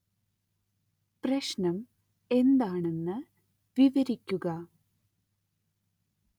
പ്രശ്നം എന്താണെന്നു വിവരിക്കുക